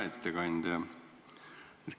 Hea ettekandja!